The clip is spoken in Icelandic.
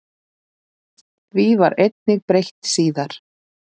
Því var einnig breytt síðar.